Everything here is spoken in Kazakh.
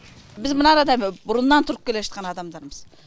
біз мынада бұрыннан тұрып келе жатқан адамдармыз